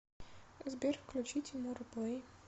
сбер включи тимура плэй